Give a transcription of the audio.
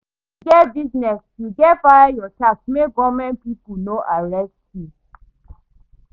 If you get business, you gats file your tax make government pipo no arrest you.